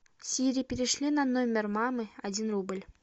сири перешли на номер мамы один рубль